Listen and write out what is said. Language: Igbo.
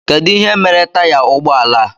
Kedụ ihe mere taya ụgbọala a?